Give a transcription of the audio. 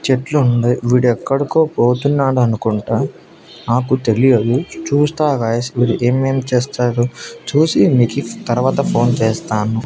చెట్లు ఉండయి వీడెక్కడుకో పోతున్నాడు అనుకుంటా నాకు తెలియదు చూస్తా గాయ్స్ వీడు ఏమేం చేస్తాడు చూసి మీకు తర్వాత ఫోన్ చేస్తాను.